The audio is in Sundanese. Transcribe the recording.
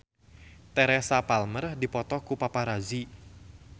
Teresa Palmer dipoto ku paparazi